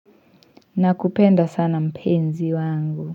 Na kupenda sana mpenzi wangu.